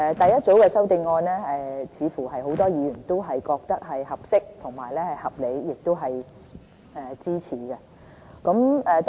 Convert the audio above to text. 第一組修正案似乎很多議員都覺得是合適和合理，亦是值得支持的。